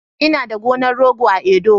Ina da gonar rogo a Edo